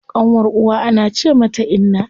Ƙanwar uwa ana ce mata inna.